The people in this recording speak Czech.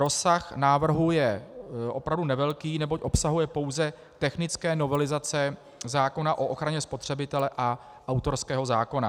Rozsah návrhů je opravdu nevelký, neboť obsahuje pouze technické novelizace zákona o ochraně spotřebitele a autorského zákona.